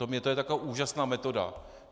To je taková úžasná metoda.